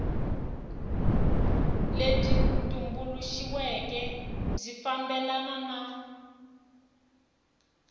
lebyi tumbuluxiweke byi fambelana na